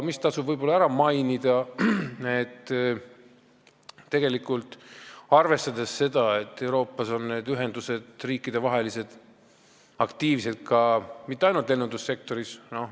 Tasub veel ära mainida, et tegelikult ei ole Euroopas aktiivsed riikidevahelised ühendused mitte ainult lennundussektoris.